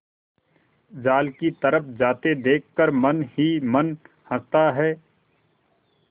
जाल की तरफ जाते देख कर मन ही मन हँसता है